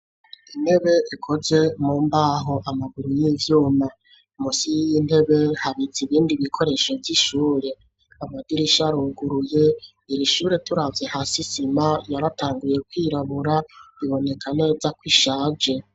Intebe ikozwe mu mbaho, amaguru y'ivyuma. Munsi y'intebe habitse ibindi bikoresho vy'ishure. Amadirisha aruguruye, iri shure turavye hasi, isima yatanguye kwirabura biboneka neza ko ishaje.